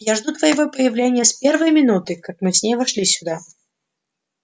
я жду твоего появления с первой минуты как мы с ней вошли сюда